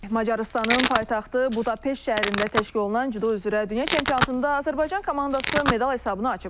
Macarıstanın paytaxtı Budapeşt şəhərində təşkil olunan cüdo üzrə dünya çempionatında Azərbaycan komandası medal hesabını açıb.